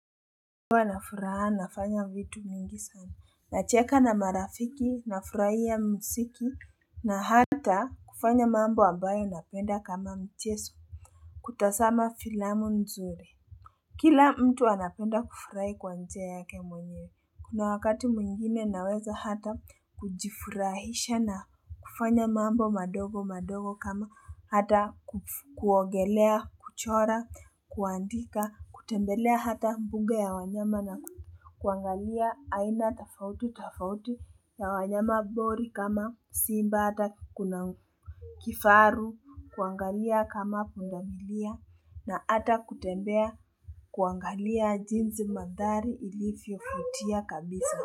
Huwa nafuraha nafanya vitu mingi sana nacheka na marafiki nafurahia msiki na hata kufanya mambo ambayo napenda kama mcheso kutasama filamu mzuri kila mtu anapenda kufurai kwa njia yake mwenyewe kuna wakati mwingine naweza hata kujifurahisha na kufanya mambo madogo madogo kama hata kuongelea kuchora kuandika kutembelea hata mbunge ya wanyama na kuangalia aina tofauti tofauti ya wanyama bori kama simba hata kuna kifaru kuangalia kama pundamilia na ata kutembea kuangalia jinzi mandhari ili fiofutia kabisa.